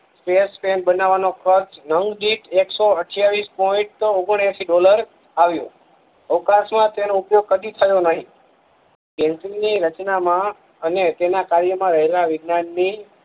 space pen બનવા નો ખર્ચ નવ જીટ એકસો અઠયાવીસ પોઈન્ટ ઓગનએસીડોલર આવ્યો અવકાસ માં તેનું ઉપયોગ કડી થયો નહી પેન્સિલ ની રચના માં અને તેના કાર્ય માં રહેલા વિજ્ઞાન ની